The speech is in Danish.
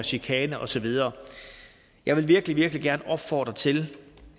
chikane og så videre jeg vil virkelig virkelig gerne opfordre til